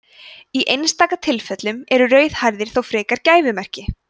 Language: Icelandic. í einstaka tilfellum eru rauðhærðir þó frekar gæfumerki